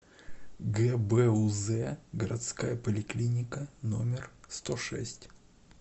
гбуз городская поликлиника номер сто шесть